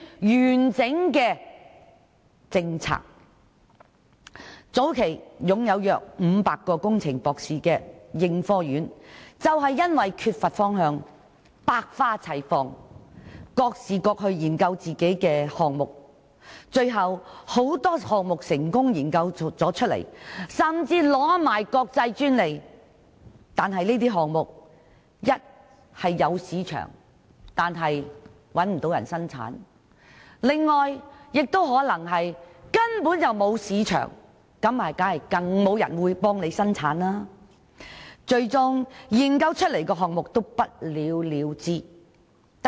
應科院早期擁有約500名工程博士，他們缺乏共同方向，以致百花齊放，各自研究不同的項目，雖然有很多項目研發成功，甚至取得國際專利，但儘管這些項目有市場，卻找不到人生產，亦有其他項目沒有市場，更是無人問津，最終很多研發出的項目都不了了之。